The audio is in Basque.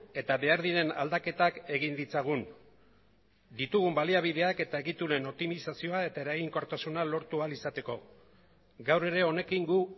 eta behar diren aldaketak egin ditzagun ditugun baliabideak eta egituren optimizazioa eta eraginkortasuna lortu ahal izateko gaur ere honekin gu